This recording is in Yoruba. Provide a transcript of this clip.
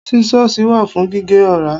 Scissors wa fún gíge ora.